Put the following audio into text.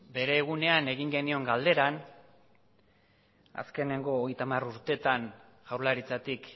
bere egunean egin genion galderan azkenengo hogeita hamar urteetan jaurlaritzatik